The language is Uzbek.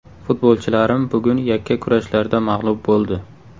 Futbolchilarim bugun yakka kurashlarda mag‘lub bo‘ldi.